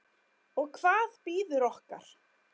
Og hvað bíður okkar?